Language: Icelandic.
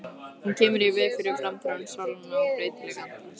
Hún kemur í veg fyrir framþróun sálnanna og breytileik andans.